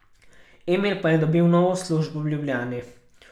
Emil pa je dobil novo službo v Ljubljani.